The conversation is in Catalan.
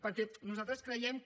perquè nosaltres creiem que